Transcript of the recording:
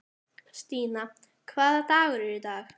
Stína, hvaða dagur er í dag?